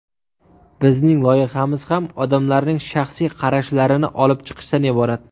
Bizning loyihamiz ham odamlarning shaxsiy qarashlarini olib chiqishdan iborat.